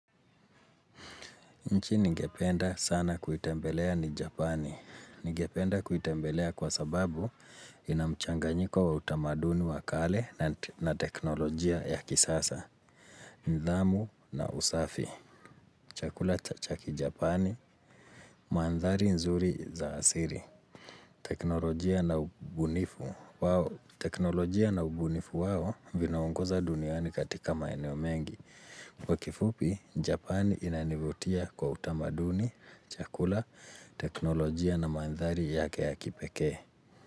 Nchi ningependa sana kuitembelea ni Japani. Ningependa kuitembelea kwa sababu inamchanganyiko wa utamaduni wa kale na teknolojia ya kisasa. Nidhamu na usafi. Chakula cha kijapani. Manthari nzuri za asili. Teknolojia na ubunifu. Teknolojia na ubunifu wao vinaongoza duniani katika maeneo mengi. Kwa kifupi, Japani inanivutia kwa utamaduni, chakula, teknolojia na mandhari yake ya kipekee.